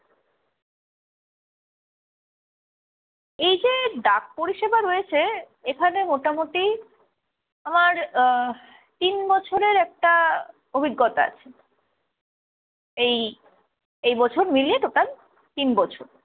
এই যে ডাক পরিষেবা রয়েছে, এখানে মোটামোটি আমার আহ তিন বছরের একটা অভিজ্ঞতা আছে। এই, এই বছর মিলিয়ে total তিন বছর।